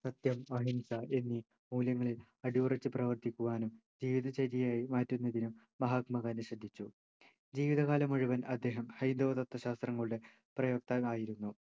സത്യം അഹിംസ എന്നീ മൂല്യങ്ങളിൽ അടിയുറച്ചു പ്രവർത്തിക്കുവാനും ജീവിതചര്യയായി മാറ്റുന്നതിനും മഹാത്മാഗാന്ധി ശ്രദ്ധിച്ചു ജീവിതകാലം മുഴുവൻ അദ്ദേഹം ഹൈന്ദവ തത്വശാസ്ത്രങ്ങളുടെ പ്രയോക്താവായിരുന്നു